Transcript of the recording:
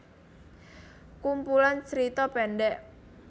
Kumpulan tjerita pendek